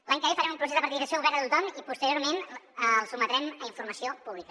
l’any que ve farem un procés de participació obert a tothom i posteriorment el sotmetrem a informació pública